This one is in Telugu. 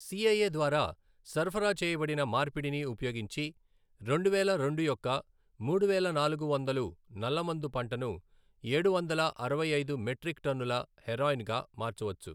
సిఐఏ ద్వారా సరఫరా చేయబడిన మార్పిడిని ఉపయోగించి, రెండువేల రెండు యొక్క మూడువేల నాలుగు వందలు నల్లమందు పంటను ఏడువందల అరవై ఐదు మెట్రిక్ టన్నుల హెరాయిన్గా మార్చవచ్చు.